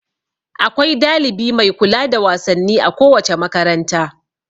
Akwai dalibi mai kula da wasanni a kowace makaranta.